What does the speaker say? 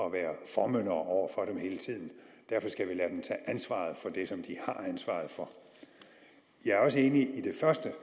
at være formyndere over for dem hele tiden derfor skal vi lade dem tage ansvaret for det som de har ansvaret for jeg er også enig i det første